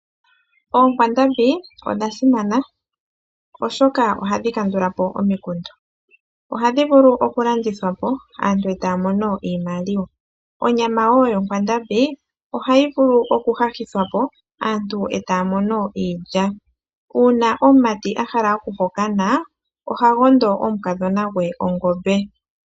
Oonkwandambi odhasimana oshoka ohadhi kandula po omikundu, ohadhi vulu okuladithwa po aantu e ta ya mono iimaliwa , onyama wo yoonkwandambi ohayi vulu okulandithwa po aantu e taya mono iilya, una omumati ahala okuhokaana ohaa goonda omukadhona gwe ongombe.